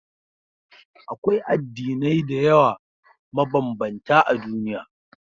Akwai addinai da yawa mabambanta a duniya.